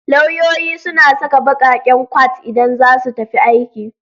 Lauyoyi suna saka baƙaƙen kwat idan za su tafi aiki